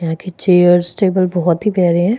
यहा के chairs table बहुत ही प्यारे हैं।